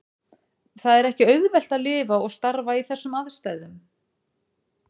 Það er ekki auðvelt að lifa og starfa í þessum aðstæðum.